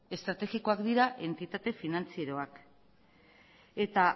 estrategikoak dira entitate finantzieroak eta